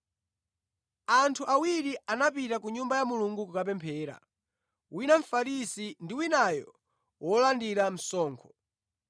“Anthu awiri anapita ku Nyumba ya Mulungu kukapemphera, wina Mfarisi ndi winayo wolandira msonkho.